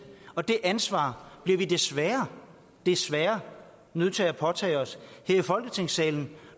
og det ansvar bliver vi desværre desværre nødt til at påtage os her i folketingssalen